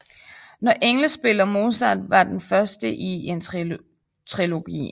Når engle spiller Mozart var den første i en trilogi